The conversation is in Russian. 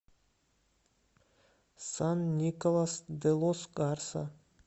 сан николас де лос гарса